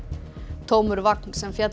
tómur vagn sem féll